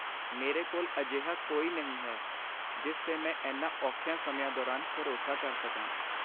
ਮੇਰੇ ਕੋਲ ਅਜਿਹਾ ਕੋਈ ਨਹੀਂ ਹੈ ਜਿਸ 'ਤੇ ਮੈਂ ਇਨ੍ਹਾਂ ਔਖੇ ਸਮਿਆਂ ਦੌਰਾਨ ਭਰੋਸਾ ਕਰ ਸਕਾਂ।